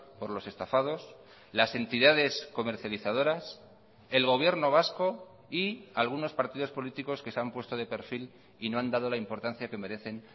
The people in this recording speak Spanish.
por los estafados las entidades comercializadoras el gobierno vasco y algunos partidos políticos que se han puesto de perfil y no han dado la importancia que merecen